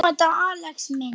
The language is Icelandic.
Elsku dýrmæti Axel minn.